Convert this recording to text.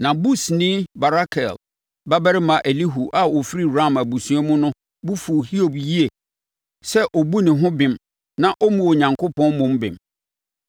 Na Busini Barakel babarima Elihu a ɔfiri Ram abusua mu no bo fuu Hiob yie sɛ ɔbu ne ho bem na ɔmmu Onyankopɔn mmom bem.